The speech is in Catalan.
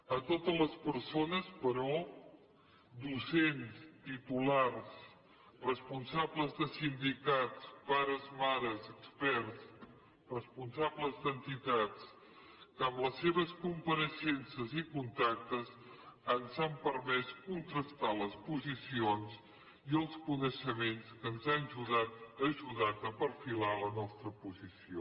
a totes les persones però docents titulars responsables de sindicats pares mares experts responsables d’entitats que amb les seves compareixences i contactes ens han permès contrastar les posicions i els coneixements que ens han ajudat a perfilar la nostra posició